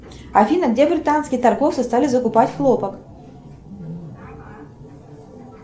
афина где британские торговцы стали закупать хлопок